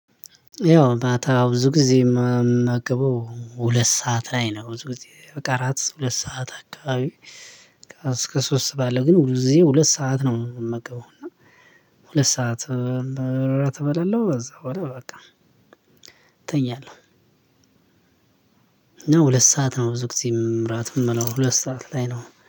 ያው ማታ ብዙ ጊዜ የምመገበው ሁለት ሰዓት ላይ ነው ብዙ ጊዜ በቃ እራት ሁለት ሰዓት አካባቢ። እስከ ሶስት ባለው ግን ብዙ ጊዜ ሁለት ሰዓት ነው የምመገበው እና ሁለት ሰዓት እራት እበላለሁ ከዛ በኋላ በቃ እተኛለሁ። ሁለት ሰዓት ነው ብዙ ጊዜ ራት የምበላው ሁለት ሰዓት ላይ ነው